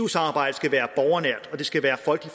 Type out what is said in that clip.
samarbejdet